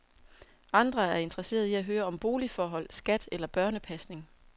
Andre er interesserede i høre om boligforhold, skat eller børnepasning.